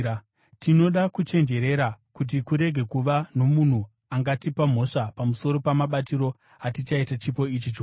Tinoda kuchenjerera kuti kurege kuva nomunhu angatipa mhosva pamusoro pamabatiro atichaita chipo ichi chikuru.